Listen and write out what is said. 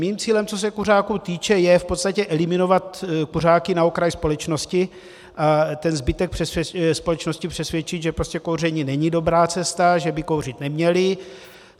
Mým cílem, co se kuřáků týče, je v podstatě eliminovat kuřáky na okraj společnosti a ten zbytek společnosti přesvědčit, že prostě kouření není dobrá cesta, že by kouřit neměli.